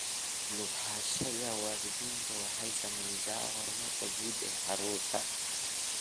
Ku lug lahaanshaha waalidku waxay saamaysaa horumarka guud ee carruurta .